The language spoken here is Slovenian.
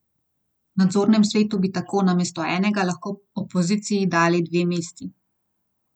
V nadzornem svetu bi tako namesto enega lahko opoziciji dali dve mesti.